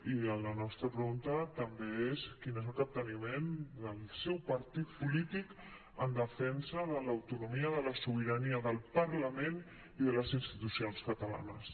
i la nostra pregunta també és quin és el capteniment del seu partit polític en defensa de l’autonomia de la sobirania del parlament i de les insti·tucions catalanes